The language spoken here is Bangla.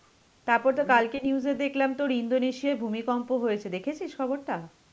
তারপর তো কালকে news এ দেখলাম তোর ইন্দোনেশিয়ায় ভূমিকম্প হয়েছে. দেখেছিস খবরটা?